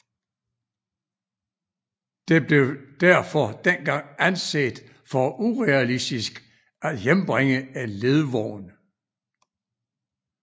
Det blev derfor dengang anset for urealistisk at hjembringe en ledvogn